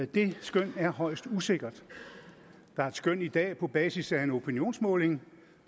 det skøn er højst usikkert der er et skøn i dag på basis af en opinionsmåling